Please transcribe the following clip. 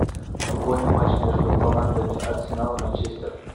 футбольный матч между командами арсенал и манчестер